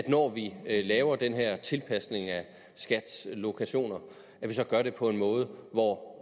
når vi laver den her tilpasning af skats lokationer så gør det på en måde hvor